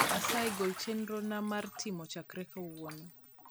asyi gol chenro na mar timo chakre kauono